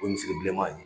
O ye misiri bileman ye